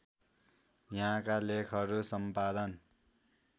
यहाँका लेखहरू सम्पादन